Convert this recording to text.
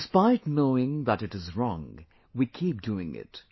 Despite knowing that it is wrong, we keep doing it